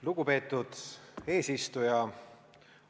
Lugupeetud eesistuja!